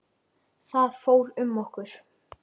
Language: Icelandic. Það fór um okkur.